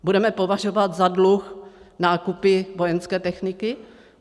Budeme považovat za dluh nákupy vojenské techniky?